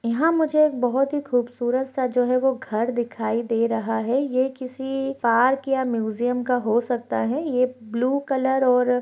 यहाँ मुझे एक बहुत ही खूबसूरत सा जो है वो घर दिखाई दे रहा है ये किसी पार्क या म्यूजियम का हो सकता है ये ब्लू कलर और--